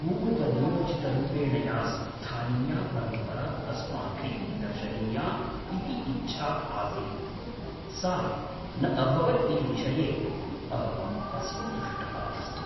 पूर्वनियोजितरूपेण या स्थानीया परम्परा अस्माभिः दर्शनीया इति इच्छा आसीत् सा न अभवत् इति विषये अहं असन्तुष्टः अस्मि।